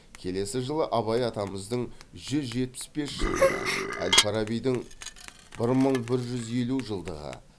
келесі жылы абай атамыздың жүз жетпіс бес жылдығы әл фарабидің бір мың бір жүз елу жылдығы